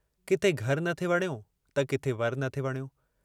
किथे घरु न थे वणियो त किथे वरु न थे वणियो